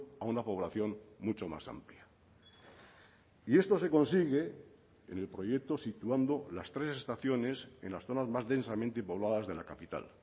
a una población mucho más amplia y esto se consigue en el proyecto situando las tres estaciones en las zonas más densamente pobladas de la capital